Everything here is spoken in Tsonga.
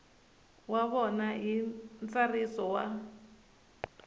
wa vona hi ntsariso wa